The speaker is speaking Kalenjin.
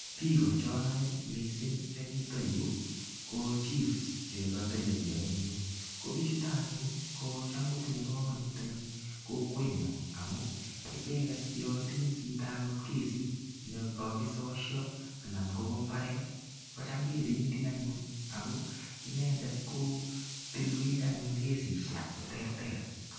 Biiko chonoe mising eng yuto yu ko chiefs che kotelelio eng yu. Ko biichuto anyun ko cham kotinye kamanut eng kokwenyu amu icheget yo itinye chito agot kesit ne kokisosio anan kobo imbaret kocham kependi anyun ago inendet anyun kotilwech anyun kesisiek cheterter.